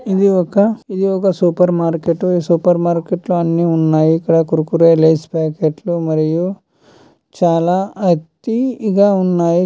ఇది ఒక _ఇది ఒక సూపర్ మార్కెటు . ఈ సూపర్ మార్కెట్ లో అన్ని ఉన్నాయి. ఇక్కడ కుర్కురే లేస్ ప్యాకెట్ లు మరియు చాల అతి ఇగ ఉన్నాయి.